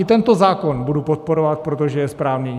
I tento zákon budu podporovat, protože je správný.